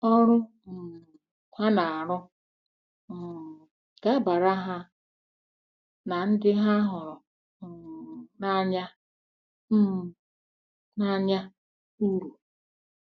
Ọrụ um ha na-arụ um ga-abara ha na ndị ha hụrụ um n’anya um n’anya uru.